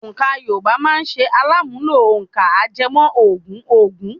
Òǹkà Yorùbá máa ṣe alàmúnlò òǹkà ajẹmọ́ ogún ogún.